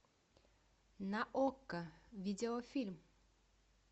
на окко видеофильм